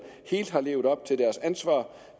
helt har levet op til deres ansvar